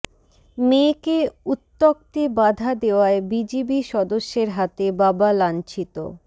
মেয়েকে উত্ত্যক্তে বাধা দেওয়ায় বিজিবি সদস্যের হাতে বাবা লাঞ্ছিত